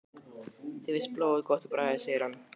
Þér finnst blóð gott á bragðið segir hann.